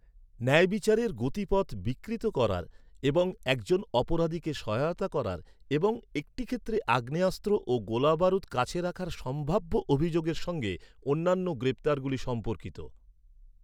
ন্যায়বিচারের গতিপথ বিকৃত করার এবং একজন অপরাধীকে সহায়তা করার, এবং একটি ক্ষেত্রে আগ্নেয়াস্ত্র ও গোলাবারুদ কাছে রাখার সম্ভাব্য অভিযোগের সঙ্গে অন্যান্য গ্রেপ্তারগুলি সম্পর্কিত।